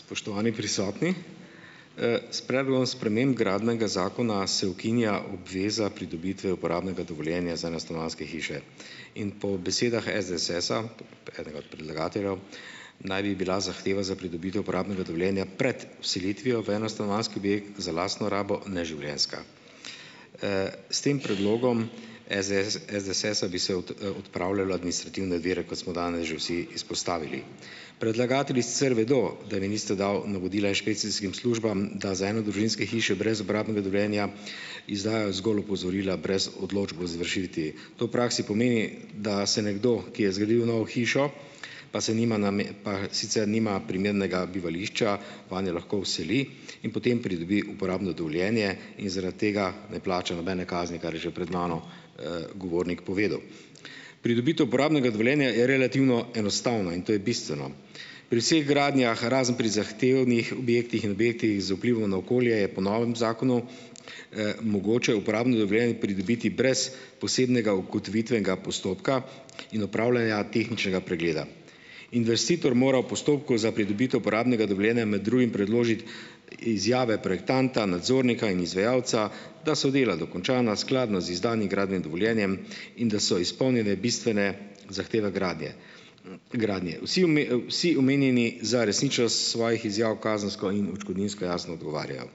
Spoštovani prisotni. S predlogom sprememb Gradbenega zakona se ukinja obveza pridobitve uporabnega dovoljena za enostanovanjske hiše in po besedah SDS-a, enega od predlagateljev, naj bi bila zahteva za pridobitev uporabnega dovoljenja pred vselitvijo v enostanovanjski objekt za lastno rabo neživljenjska. S tem predlogom SDS SDS-a bi se odpravljalo administrativne vire, kot smo danes že vsi izpostavili. Predlagatelji sicer vedo, da vi niste dal navodila inšpekcijskim službam, da za enodružinske hiše brez uporabnega dovoljenja izdajo zgolj opozorila brez odločb o izvršitvi. To v praksi pomeni, da se nekdo, ki je zgradil novo hišo, pa se nima pa sicer nima primernega bivališča, vanjo lahko vseli in potem pridobi uporabno dovoljenje in zaradi tega ne plača nobene kazni, kar je že pred mano, govornik povedal. Pridobitev uporabnega dovoljenja je relativno enostavno in to je bistveno. Pri vseh gradnjah, razen pri zahtevnih objektih in objektih z vplivom na okolje, je po novem zakonu, mogoče uporabno dovoljenje pridobiti brez posebnega ugotovitvenega postopka in opravljanja tehničnega pregleda. Investitor mora v postopku za pridobitev uporabnega dovoljenja med drugim predložiti izjave projektanta, nadzornika in izvajalca, da so dela dokončana skladno z izdanim gradbenim dovoljenjem in da so izpolnjene bistvene zahteve gradnje. gradnje. Vsi vsi omenjeni za resničnost svojih izjav kazensko in odškodninsko jasno odgovarjajo.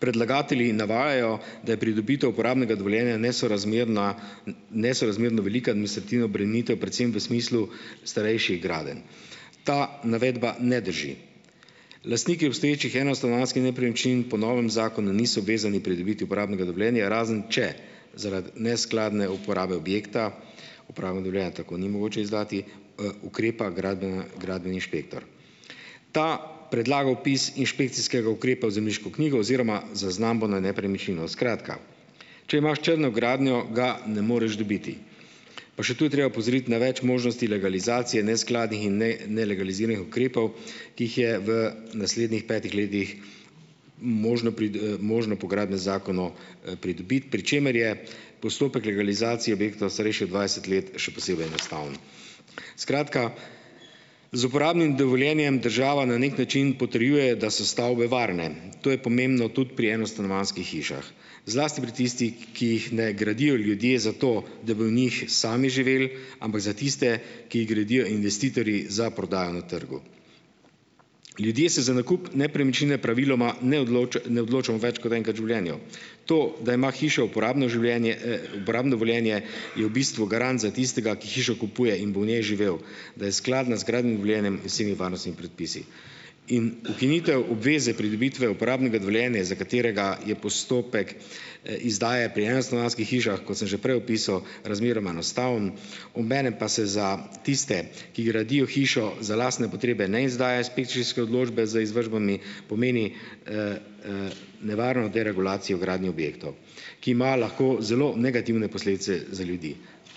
Predlagatelji navajajo, da je pridobitev uporabnega dovoljenja nesorazmerna nesorazmerno velika administrativna obremenitev, predvsem v smislu starejših gradenj. Ta navedba ne drži. Lastniki obstoječih enostanovanjskih nepremičnin po novem zakonu niso vezani pridobiti uporabnega dovoljenja, razen če zaradi neskladne uporabe objekta uporabnega dovoljenja tako ni mogoče izdati, ukrepa gradbena gradbeni inšpektor. Ta predlaga vpis inšpekcijskega ukrepa v Zemljiško knjigo oziroma zaznambo na nepremičnino. Skratka, če imaš črno gradnjo, ga ne moreš dobiti. Pa še tu je treba opozoriti na več možnosti legalizacije neskladnih in nelegaliziranih ukrepov, ki jih je v naslednjih petih letih možno možno po Gradbenem zakonu, pridobiti, pri čemer je postopek legalizacije objektov, starejših od dvajset let, še posebej enostavno. Skratka, z uporabnim dovoljenjem država na neki način potrjuje, da so stavbe varne. To je pomembno tudi pri enostanovanjskih hišah, zlasti pri tistih, ki jih ne gradijo ljudje zato, da bi v njih sami živeli, ampak za tiste, ki jih gradijo investitorji za prodajo na trgu. Ljudje se za nakup nepremičnine praviloma ne ne odločamo več kot enkrat življenju. To, da ima hiša uporabno življenje, uporabno dovoljenje je v bistvu garant za tistega, ki hišo kupuje in bo v njej živel, da je skladna z gradbenim dovoljenjem in vsemi varnostnimi predpisi. In ukinitev obveze pridobitve uporabnega dovoljenja, za katerega je postopek, izdaje pri enostanovanjskih hišah, kot sem že prej opisal, razmeroma enostavno, obenem pa se za tiste, ki gradijo hišo za lastne potrebe, ne izdaja inšpekcijske odločbe z izvršbami, pomeni nevarnost deregulacije gradnje objektov, ki ima lahko zelo negativne posledice za ljudi.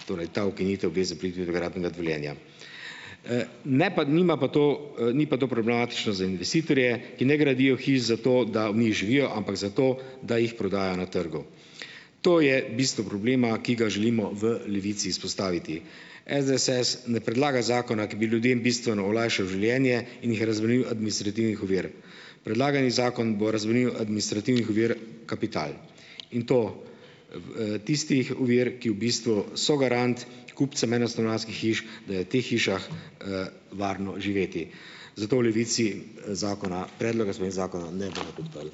Torej, ta ukinitev gre za pridobitev gradbenega dovoljenja. Ne, pa nima pa to, ni pa to problematično za investitorje, ki ne gradijo hiš zato, da v njih živijo, ampak zato, da jih prodajajo na trgu. To je bistvo problema, ki ga želimo v Levici izpostaviti. SDS ne predlaga zakona, ki bi ljudem bistveno olajšal življenje in jih razbremenil administrativnih ovir. Predlagani zakon bo razbremenil administrativnih ovir kapital in to, tistih ovir, ki, v bistvu, so garant kupcem enostanovanjskih hiš, da je v teh hišah, varno živeti. Zato v Levici, zakona predloga sprememb zakona ne bomo podprli.